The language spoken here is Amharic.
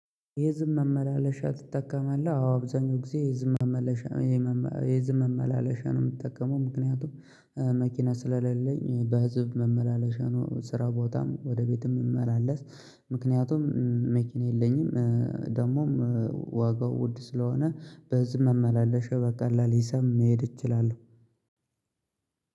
የህዝብ መመላለሻ ትጠቀማለህ? አዎ አብዛኛው ጊዜ የህዝብ መመለሻየመመ የህዝብ መመላለሻ ነው የምትጠቀመው ምክንያቱም መኪና ስለሌለኝ በህዝብ መመላለሻ ነው ስራ ቦታም ወደ ቤትም እምመላለስ። ምክንያቱም መኪና የለኝም። ደግሞም ዋጋው ውድ ስለሆነ በህዝህ መመላለሻ በቀላል ሂሳብ መሄድ እችላለሁ።